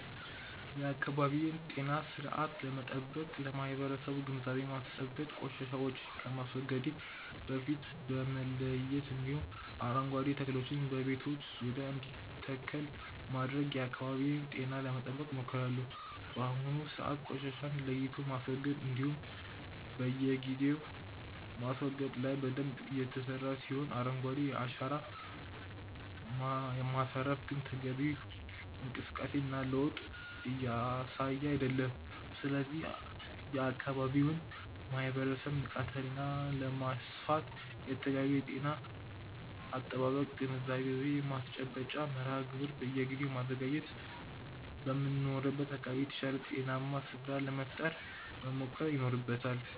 የአካባቢዬን ጤና ስርአት ለመጠበቅ ለማበረሰቡ ግንዛቤ ማስጨበጥ፣ ቆሻሻዎችን ከማስወገዴ በፊት በመለየት እንዲሁም አረንጓዴ ተክሎችን በቤቶች ዙሪያ እንዲተከል በማድረግ የአካባቢዬን ጤና ለመጠበቅ ሞክራለሁ። በአሁኑ ሰዓት ቆሻሻን ለይቶ ማስወገድ እንዲሁም በየጊዜው ማስወገድ ላይ በደንብ እየተሰራ ሲሆን አረንጓዴ አሻራን ማሳረፍ ግን ተገቢውን እንቅስቃሴ እና ለዉጥ እያሳየ አይደለም። ስለዚህም የአካባቢውን ማህበረሰብ ንቃተ ህሊና ለማስፋት የተለያዩ የአካባቢ ጤና አጠባበቅ ግንዛቤ ማስጨበጫ መርሃ ግብር በየጊዜው በማዘጋጀት በምንኖርበት አካባቢ የተሻለ ጤናማ ስፍራን ለመፍጠር መሞከር ይኖርበታል።